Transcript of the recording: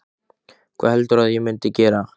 Hvað heldurðu að ég myndi gera?